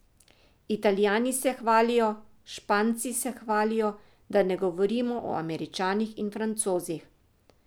Italijani se hvalijo, Španci se hvalijo, da ne govorimo o Američanih in Francozih.